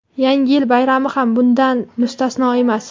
Yangi yil bayrami ham bundan mustasno emas.